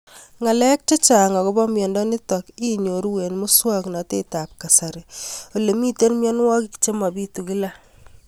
Ng'alek chechang' akopo miondo nitok inyoru eng' muswog'natet ab kasari ole mito mianwek che mapitu kila